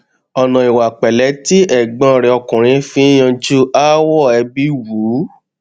ọnà ìwà pẹlẹ tí ẹgbọn rẹ ọkùnrin fi n yanjú aáwọ ẹbí wù ú